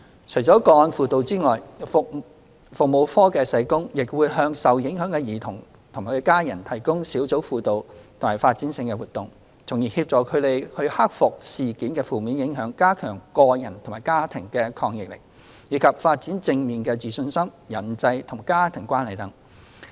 除了個案輔導外，服務課社工亦會向受影響的兒童及家人提供小組輔導和發展性活動，從而協助他們克服事件的負面影響、加強個人及家庭的抗逆力、以及發展正面的自信心、人際和家庭關係等。